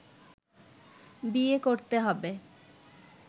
বিয়ে করতে হবে